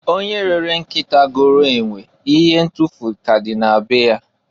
Onye rere nkịta goro enwe n'ihe ntukwu ka a dị na be ya.